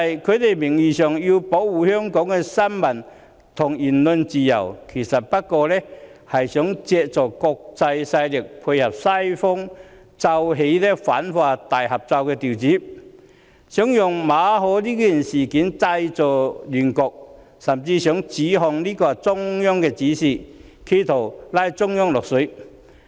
他們名義上要保護香港的新聞和言論自由，其實只不過想借助國際勢力，配合西方奏起的反華大合奏調子，利用馬凱事件製造亂局，甚至指控這是中央發出的指示，試圖把中央"拖落水"。